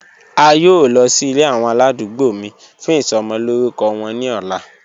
A yoo lọ si ile awọn aladugbo mi fun isomo lorukọ wọn ni ọla.